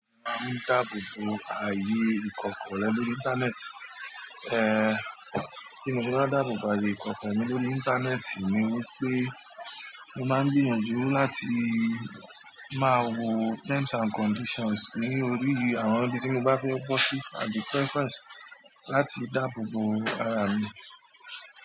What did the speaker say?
Máa ń dáàbò bo ààyè ìkọ̀kọ̀ rẹ lórí íńtánẹ́ẹ̀tì. Bí mo bá wá dáàbò bo àyè ìkọ́kọrẹ́ lórí íńtánẹ́ẹ̀tì ni wípé mo máa ń gbìyànjú láti máa wo terms and conditions ní orí àwọn ibi tí mo bá fẹ́ bọ́ sí àbí preference láti dáàbò bo ara mi.